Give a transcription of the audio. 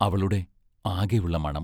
അവളുടെ ആകെയുള്ള മണം.